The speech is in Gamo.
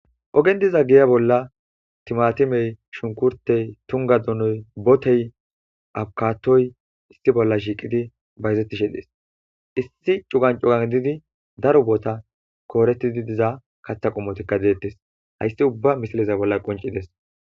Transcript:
Ogen diza geya bolla timatimey,shunkurtey, tungga donoy, botey, abukatoy, issi bolla shiiqidi bayzettishe dees. Issi cugan cugan didi daro boota koorettidi diza katha qumotikka deettes. Hayssi ubba misileza bolla qonccides.